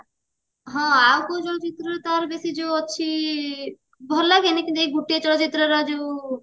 ହଁ ଆଉ କୋଉ ଚଳଚିତ୍ର ରେ ତାର ବେସି ଯୋଉ ଅଛି ଭଲ ଲାଗେନି କିନ୍ତୁ ଏଇ ଗୋଟିଏ ଚଳଚିତ୍ରର ଯୋଉ